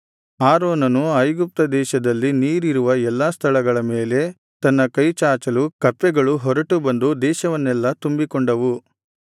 ಆರೋನನು ಐಗುಪ್ತ ದೇಶದಲ್ಲಿ ನೀರಿರುವ ಎಲ್ಲಾ ಸ್ಥಳಗಳ ಮೇಲೆ ತನ್ನ ಕೈಚಾಚಲು ಕಪ್ಪೆಗಳು ಹೊರಟು ಬಂದು ದೇಶವನ್ನೆಲ್ಲಾ ತುಂಬಿಕೊಂಡವು